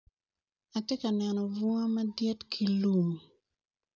Atye ka neno bunga madit ki lum